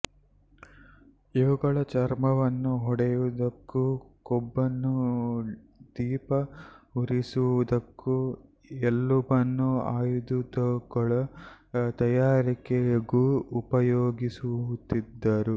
ಇವುಗಳ ಚರ್ಮವನ್ನು ಹೊದೆಯುವುದಕ್ಕೂ ಕೊಬ್ಬನ್ನು ದೀಪ ಉರಿಸುವುದಕ್ಕೂ ಎಲುಬನ್ನು ಆಯುಧಗಳ ತಯಾರಿಕೆಗೂ ಉಪಯೋಗಿಸುತ್ತಿದ್ದರು